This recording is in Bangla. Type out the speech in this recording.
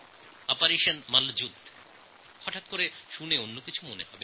এখন কেউ এটা শুনলে মনে করবেন যে এটা অন্য কোনো প্রসঙ্গ হবে